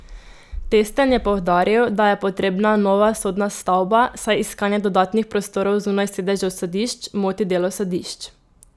Testen je poudaril, da je potrebna nova sodna stavba, saj iskanje dodatnih prostorov zunaj sedežev sodišč moti delo sodišč.